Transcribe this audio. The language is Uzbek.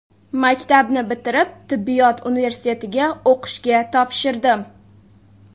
Maktabni bitirib, tibbiyot universitetiga o‘qishga topshirdim.